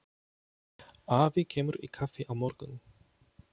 Afi kemur í kaffi á morgun.